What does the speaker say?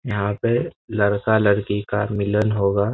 यहाँ पे लड़का-लड़की का मिलन होगा।